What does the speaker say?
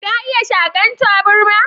Ka iya Sakan taburma?